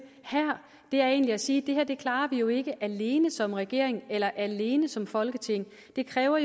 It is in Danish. her er egentlig at sige at det her klarer vi jo ikke alene som regering eller alene som folketing det kræver